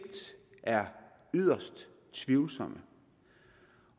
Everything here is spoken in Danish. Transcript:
er yderst tvivlsomme